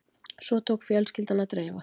Svo tók fjölskyldan að dreifast